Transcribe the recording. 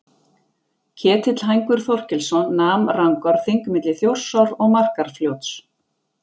Ketill hængur Þorkelsson nam Rangárþing milli Þjórsár og Markarfljóts.